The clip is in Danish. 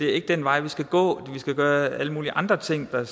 er den vej vi skal gå at vi skal gøre alle mulige andre ting der